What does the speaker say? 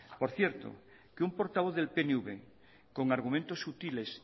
por cierto que un portavoz del pnv con argumentos sutiles